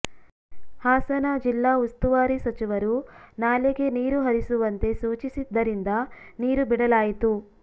ಹಾಸನ ಜಿಲ್ಲಾ ಉಸ್ತುವಾರಿ ಸಚಿವರು ನಾಲೆಗೆ ನೀರು ಹರಿಸುವಂತೆ ಸೂಚಿಸಿದ್ದರಿಂದ ನೀರು ಬಿಡಲಾಯಿತು